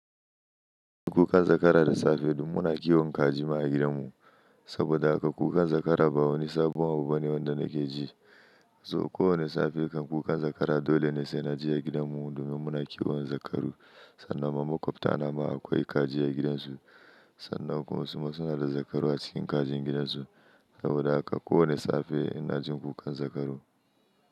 Kukan zakara da safe duk muna kiwon kaji ma a gidanmu. Saboda haka kukan zakara ba wani sabon abu bane wanda nake ji. So kowane safe kan kukan zakara dole ne sai na ji a gidanmu domin muna kiwon zakaru. Sannan ma maƙwabta na ma akwai kaji a gidansu. Sannan kuma su na suna da zakaru a cikin kajin gidansu. Saboda haka kowane safe ina jin kukan zakaru.